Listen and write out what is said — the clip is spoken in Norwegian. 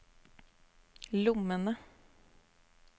lommene